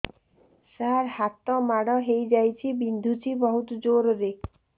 ସାର ହାତ ମାଡ଼ ହେଇଯାଇଛି ବିନ୍ଧୁଛି ବହୁତ ଜୋରରେ